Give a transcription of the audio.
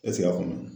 a kɔnɔ